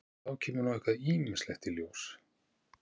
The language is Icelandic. Og þá kemur nú eitthvað ýmislegt í ljós?